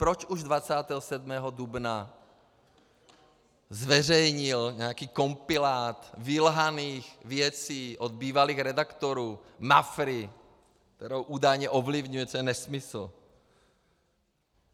Proč už 27. dubna zveřejnil nějaký kompilát vylhaných věcí od bývalých redaktorů Mafry, kterou údajně ovlivňuji, což je nesmysl?